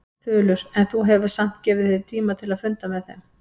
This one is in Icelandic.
Þulur: En þú hefur samt gefið þér tíma til að funda með þeim?